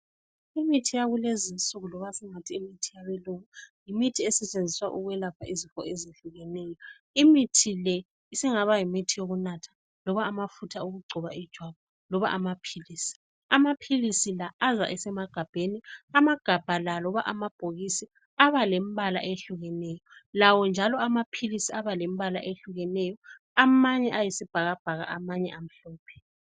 Imithi yakulezinsuku loba esingathi yimithi yabelungu yimithi esetshenziswa ukwelapha izifo ezehlukeneyo. Imithi le isingaba yimithi yokunatha, loba amafutha okugcoba ijwabu, loba amaphilisi. Amaphilisi la aza esemagabheni. Amagabha la loba amabhokisi, aba lembala eyehlukeneyo, lawo njalo amaphilisi aba lembala eyehlukeneyo. Amanye ayisibhakabhaka, amanye amhlophe.